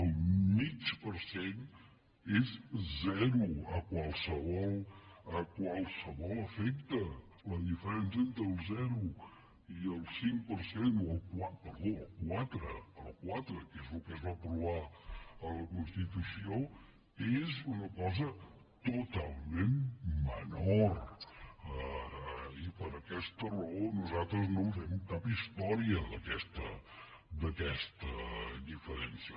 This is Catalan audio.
el mig per cent és zero a qualsevol efecte la diferència entre el zero i el cinc per cent perdó el quatre el quatre que és el que es va aprovar en la constitució és una cosa totalment menor i per aquesta raó nosaltres no en fem cap història d’aquesta diferència